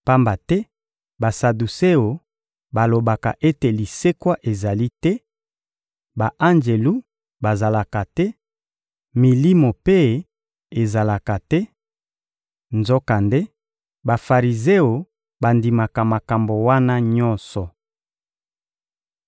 pamba te Basaduseo balobaka ete lisekwa ezalaka te, ba-anjelu bazalaka te, milimo mpe ezalaka te; nzokande, Bafarizeo bandimaka makambo wana nyonso.